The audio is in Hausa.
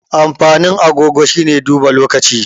Amfanin agogo shine duba lokacin.